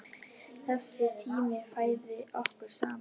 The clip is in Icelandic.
Þessi tími færði okkur saman.